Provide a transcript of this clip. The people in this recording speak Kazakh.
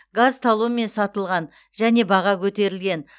газ талонмен сатылған және баға көтерілген